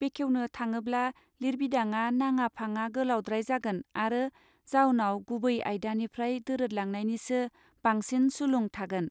बेखेवनो थाङोब्ला लिरबिदाङा नांङा फांङा गोलावद्राय जागोन आरो जाउनाव गुवै आयदानिफ्राय दोरोदलांनायनिसो बांसिन सुलं थागोन.